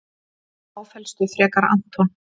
Áfellstu frekar Anton.